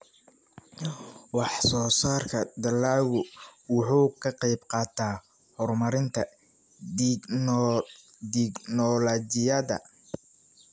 Wax-soo-saarka dalaggu wuxuu ka qaybqaataa horumarinta tignoolajiyada.